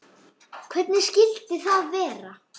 Hvernig skyldi það vera?